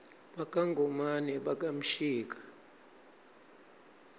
baka ngomane baka mshika